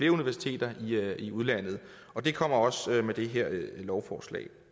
universiteter i udlandet det kommer også med det her lovforslag